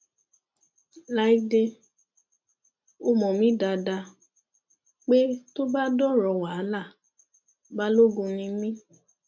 láìdẹ ó mọ mí dáadáa pé tó bá dọrọ wàhálà balógun ni mí